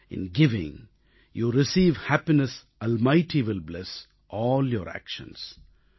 in giving you receive happiness almighty will bless all your actions